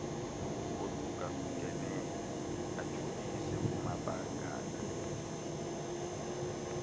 ohlukahlukeneyo ajolise kumabakala